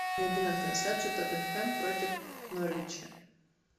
найди нам трансляцию тоттенхэм против норвича